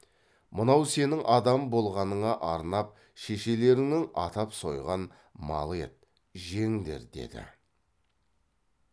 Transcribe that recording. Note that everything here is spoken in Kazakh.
мынау сенің адам болғаныңа арнап шешелеріңнің атап сойған малы еді жеңдер деді